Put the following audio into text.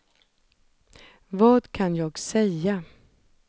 vad kan jag säga